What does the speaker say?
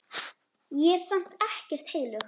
Ég er samt ekkert heilög.